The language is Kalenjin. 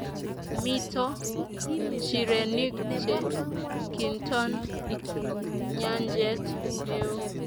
mito nchirenik che kinton nyanjet neoo